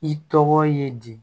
I tɔgɔ ye di